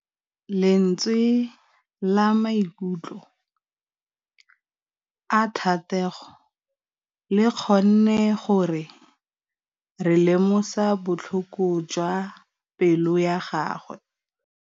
Lentswe la maikutlo a Thategô le kgonne gore re lemosa botlhoko jwa pelô ya gagwe.